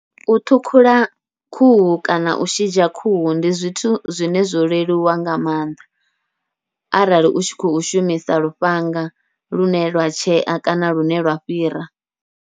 U ṱhukhula khuhu kana u shidzha khuhu ndi zwithu zwine zwo leluwa nga maanḓa, arali u tshi khou shumisa lufhanga lune lwa tshea kana lune lwa fhira.